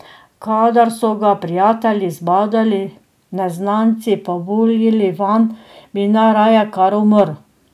Kadar so ga prijatelji zbadali, neznanci pa buljili vanj, bi najraje kar umrl.